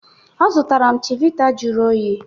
Ọ zụtara m chivita jụrụ oyi